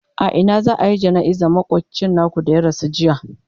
a Ina za'ayi jana'izar makocin naku da ya rasu jiya?